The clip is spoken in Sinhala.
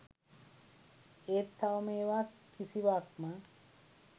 ඒත් තවම ඒවා කිසිවක්ම